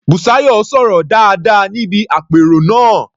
Bùsáyọ̀ sọ̀rọ̀ dáadáa níbi àpérò náà.